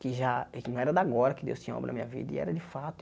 Que já não era de agora que Deus tinha obra na minha vida, e era de fato.